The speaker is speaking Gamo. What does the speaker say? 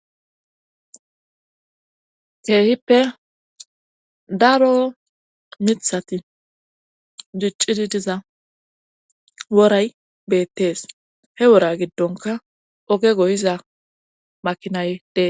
keehippe daro mithati diccidi diza woray beettees he wora giddonka oge goyiza makinay dee